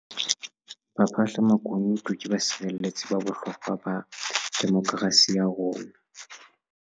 Baphahlamakunutu ke basireletsi ba bohlokwa ba demokerasi ya rona.